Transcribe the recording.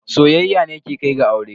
Soyayya ne ke kai ga aure.